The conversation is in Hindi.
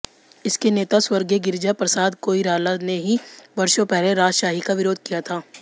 इसके नेता स्वर्गीय गिरिजा प्रसाद कोईराला ने ही वर्षों पहले राजशाही का विरोध किया था